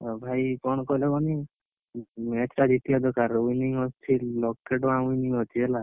ଓ ଭାଇ କଣ କଣ କହୁଛି କହନି, ଉଁ extra ଜିତିବା ଦରକାର winning ଲକ୍ଷେ ଟଙ୍କା winning ଅଛି ହେଲା।